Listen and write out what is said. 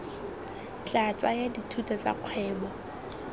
tla tsaya dithuto tsa kgwebo